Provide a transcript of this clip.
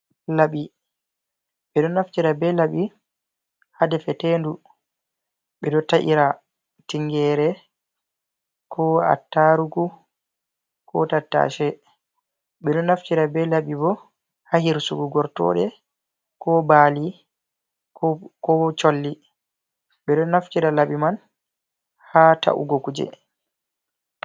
Laaɓi. Ɓeɗo naftira be laaɓi ha defetendu, Ɓe ɗo ta’ira tingeere, ko attaarugu, ko tattashe. Ɓeɗo naftira be laɓi bo ha hirsugo gortooɗe, ko baalii ko colli. Ɓe ɗo naftira laɓii man ha ta’ugo kuje.